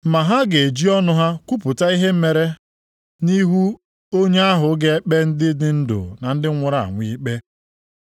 Ma ha ga-eji ọnụ ha kwupụta ihe ha mere nʼihu onye ahụ ga-ekpe ndị dị ndụ na ndị nwụrụ anwụ ikpe.